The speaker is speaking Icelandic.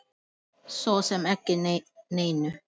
Svo sem ekki neinu.